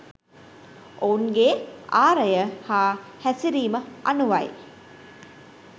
ඔවුන්ගේ ආරය හා හැසිරීම අනුවයි.